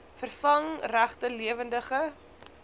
vervang regte lewendige